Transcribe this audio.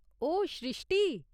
ओह श्रृश्टी !